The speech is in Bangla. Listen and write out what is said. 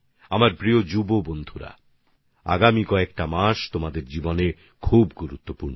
আমার প্রিয় নবীন বন্ধুরা আগামী কয়েকটি মাস আপনাদের জীবনে বিশেষ গুরুত্বপূর্ণ